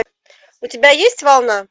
у тебя есть волна